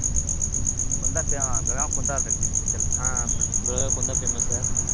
ಕುಂದಾ ಪೇ ಬೆಳಗಾಂ ಕುಂದಾ